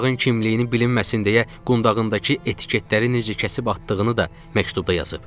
Uşağın kimliyinin bilinməsin deyə qundağındakı etiketləri necə kəsib atdığını da məktubda yazıb.